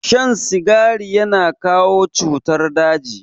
Shan sigari yana jawo cutar daji.